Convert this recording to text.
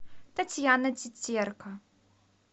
татьяна тетерка